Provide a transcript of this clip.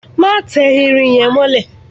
Má tẹ irin yẹn mọ́lẹ̀!